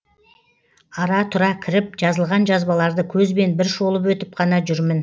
ара тұра кіріп жазылған жазбаларды көзбен бір шолып өтіп қана жүрмін